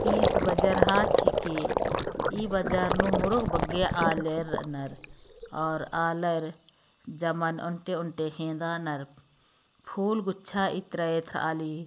इत बजारहा ठीके इ बजार नु मुरुग बग्गे आलेर नर और आलर जमन ऊँटे- ऊँटे हेन्दा नर फूल गुच्छा इत्र इत्र आली।